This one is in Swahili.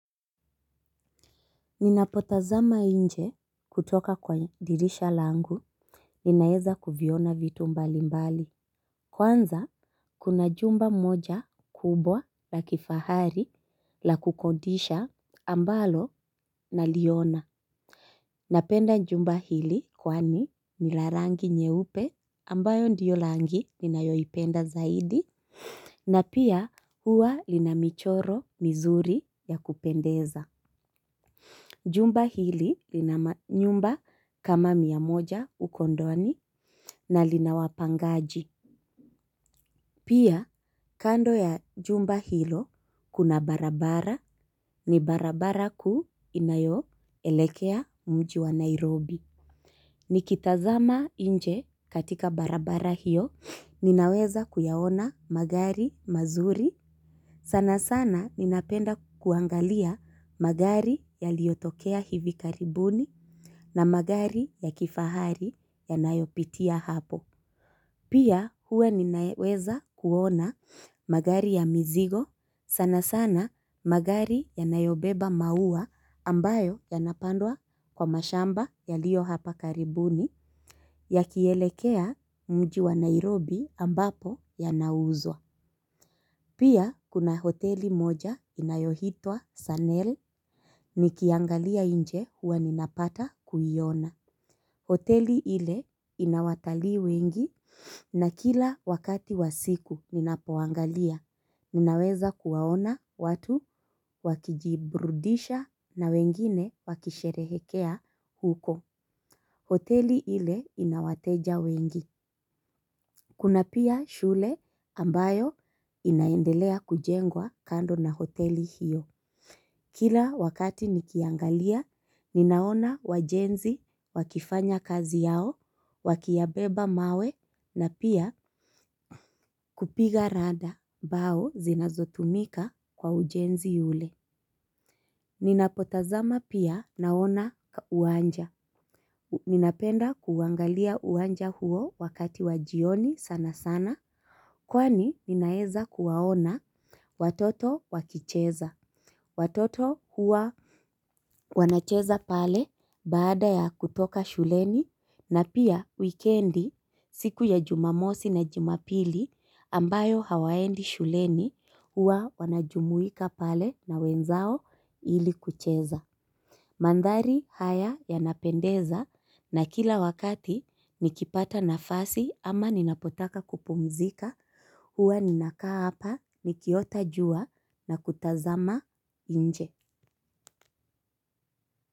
Ninapotazama inje, kutoka kwa dirisha langu, ninaeza kuviona vitu mbali mbali. Kwanza, kuna jumba moja, kubwa la kifahari la kukondisha ambalo, na liona. Napenda jumba hili, kwani, ni larangi nyeupe ambayo ndio langi ni nayoipenda zaidi, na pia huwa, linamichoro mizuri ya kupendeza. Jumba hili, lina nyumba kama miamoja ukondoni na linawapangaji. Pia, kando ya jumba hilo, kuna barabara ni barabara kuu inayo elekea mji wa Nairobi. Ni kitazama inje, katika barabara hiyo, ninaweza kuyaona magari mazuri. Sana sana, ninapenda kuangalia, magari yaliotokea hivi karibuni na magari ya kifahari ya nayopitia hapo. Pia, huwe ninaweza kuona, magari ya mizigo, sana sana, magari yanayobeba maua, ambayo, yanapandwa kwa mashamba ya lio hapa karibuni ya kielekea mji wa Nairobi ambapo, yanauzwa. Pia, kuna hoteli moja, inayohitwa Sanel, nikiangalia inje, huwa ninapata, kuiona. Hoteli ile, inawatalii wengi na kila wakati wasiku ninapoangalia, ninaweza kuwaona, watu wakijibrudisha na wengine, wakisherehekea huko. Hoteli ile inawateja wengi. Kuna pia, shule ambayo inaendelea kujengwa, kando na hoteli hiyo. Kila wakati nikiangalia, ninaona wajenzi, wakifanya kazi yao, wakiyabeba mawe na pia kupiga rada bao, zinazotumika, kwa ujenzi ule. Ninapotazama pia, naona uwanja. Ninapenda kuuangalia uwanja huo wakati wajioni sana sana. Kwani, ninaeza kuwaona watoto, wakicheza. Watoto hua, wanacheza pale, baada ya kutoka shuleni na pia wikendi, siku ya Jumamosi na Jumapili ambayo hawaendi shuleni, hua wanajumuika pale na wenzao ili kucheza. Mandhari haya, yanapendeza na kila wakati, nikipata nafasi ama ninapotaka kupumzika, huwa ninakaa apa, nikiotajua na kutazama, inje.